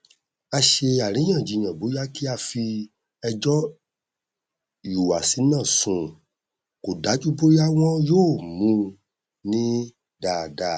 a ṣe àríyànjiyàn bóyá kí á fi ẹjọ ìhùwàsí náà sùn kò dájú bóyá wọn yóò mú un ní dáadáa